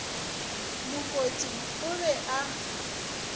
mo kote o be a